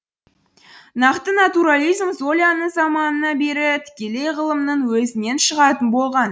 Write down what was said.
нақты натурализм золяның заманына бері тікелей ғылымның өзінен шығатын болған